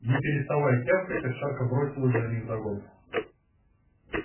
не переставая тявкать овчарка бросилась за ним вдогонку